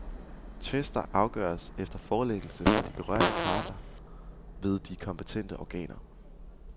Tvister afgøres efter forelæggelse fra de berørte parter ved de kompetente organer.